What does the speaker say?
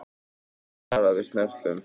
Varað við snörpum vindhviðum suðaustanlands